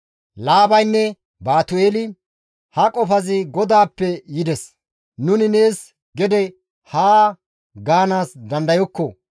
Laabaynne Baatu7eeli, «Ha qofazi GODAAPPE yides; nuni nees gede haa gaanaas dandayokko.